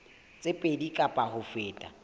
tse pedi kapa ho feta